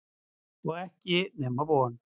Og ekki nema von.